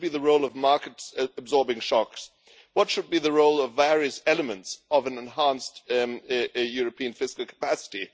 What should be the role of markets absorbing shocks? What should be the role of various elements of an enhanced European fiscal capacity?